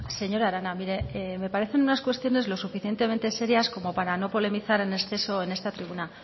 señora arana mire me parecen unas cuestiones lo suficientemente serias para no polemizar en exceso en esta tribuna